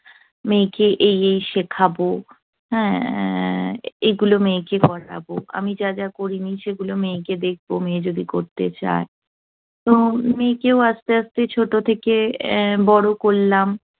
মেয়েকে এই এই শেখাবো। উহ এগুলো মেয়েকে পড়াবো। আমি যা যা করিনি, সেগুলো মেয়েকে দেখব মেয়ে যদি করতে চায়। তো মেয়েকেও আস্তে আস্তে ছোট থেকে বড় করলাম।